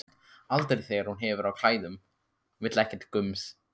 Aldrei þegar hún hefur á klæðum, vill ekkert gums.